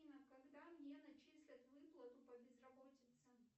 афина когда мне начислят выплату по безработице